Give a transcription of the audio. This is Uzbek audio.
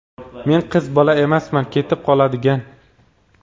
Men qiz bola emasman ketib qoladigan.